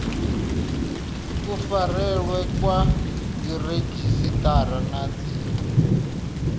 kufarelwe kwa dziredzhisiṱara na dzi